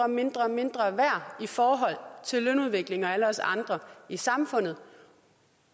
mindre og mindre værd i forhold til lønudviklingen og alle os andre i samfundet